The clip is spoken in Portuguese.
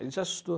Ele se assustou.